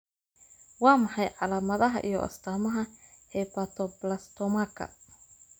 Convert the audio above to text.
Waa maxay calaamadaha iyo astaamaha Hepatoblastomaka?